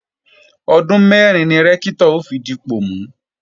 Ọdún mẹ́rin ni Rẹ́ktọ̀ ó fi dipọ̀ mú